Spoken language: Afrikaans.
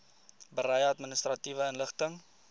berei administratiewe inligting